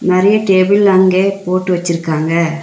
நெறைய டேபிள் அங்கே போட்டு வச்சுருக்காங்க.